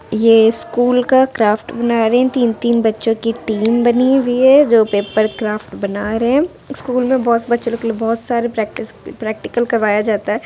ये स्कूल का क्राफ्ट बना रहे है तीन तीन बच्चों की टीम बनी हुई है जो पेपर क्राफ्ट बना रहे है स्कूल में बहुत से बच्चा लोग के लिए बहुत सारे प्रैक्टिस प्रेक्टिकल करवाया जाता है।